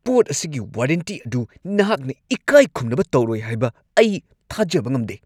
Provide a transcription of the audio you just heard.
ꯄꯣꯠ ꯑꯁꯤꯒꯤ ꯋꯥꯔꯦꯟꯇꯤ ꯑꯗꯨ ꯅꯍꯥꯛꯅ ꯏꯀꯥꯏꯈꯨꯝꯅꯕ ꯇꯧꯔꯣꯏ ꯍꯥꯏꯕ ꯑꯩ ꯊꯥꯖꯕ ꯉꯝꯗꯦ ꯫